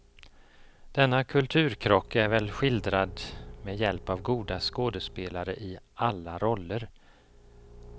Denna kulturkrock är väl skildrad med hjälp av goda skådespelare i alla roller.